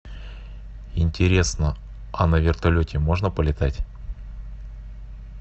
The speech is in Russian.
интересно а на вертолете можно полетать